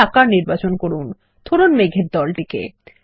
একটি আকার নির্বাচন করুন ধরুন মেঘ এর দলটিকে